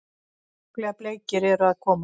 Sjúklega bleikir eru að koma!